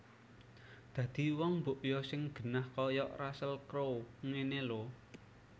Dadi wong mbok yo sing genah koyok Russel Crowe ngene lho